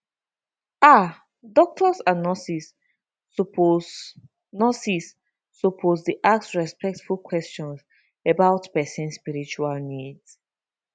ah doctors and nurses suppose nurses suppose dey ask respectful questions about person spiritual needs